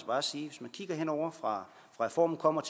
bare sige at fra reformen kom og